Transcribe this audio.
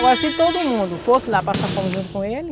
Agora, se todo mundo fosse lá passar fome junto com ele,